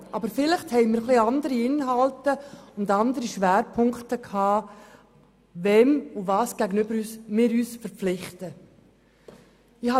Aber vielleicht haben wir etwas andere Inhalte und andere Schwerpunkte, wem und was gegenüber wir uns verpflichtet haben.